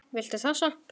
Viltu þessa?